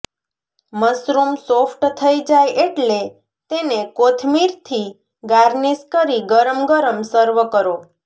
mushroom soft થઈ જાય એટલે તેને કોથમીરથી ગાર્નિશ કરી ગરમ ગરમ સર્વ કરો